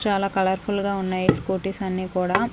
చాలా కలర్ఫుల్ గా ఉన్నాయి స్కూటీస్ అన్నీ కుడా--